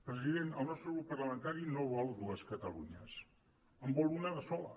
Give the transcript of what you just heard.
president el nostre grup parlamentari no vol dues catalunyes en vol una de sola